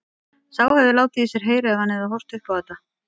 Sá hefði látið í sér heyra ef hann hefði horft upp á þetta!